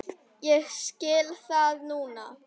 Ég skil það núna.